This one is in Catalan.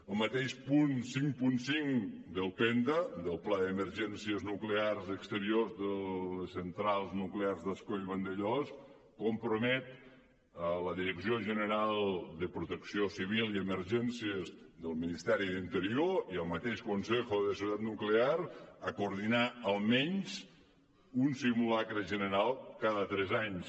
el mateix punt cinquanta cinc del penta del pla d’emergències nuclears exteriors de les centrals nuclears d’ascó i vandellòs compromet la direcció general de protecció civil i emergències del ministeri d’interior i el mateix consejo de seguridad nuclear a coordinar almenys un simulacre general cada tres anys